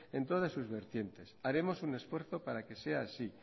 en todas sus vertientes haremos un esfuerzo para que sea así